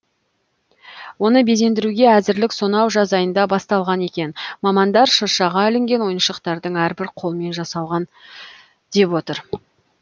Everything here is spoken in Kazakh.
оны безендіруге әзірлік сонау жаз айында басталған екен мамандар шыршаға ілінген ойыншықтардың әрбірі қолмен жасалған деп отыр